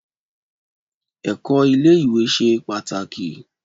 Ẹ̀kọ́ ilé ìwé ṣe pàtàkì